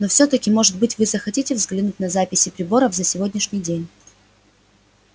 но всё таки может быть вы захотите взглянуть на записи приборов за сегодняшний день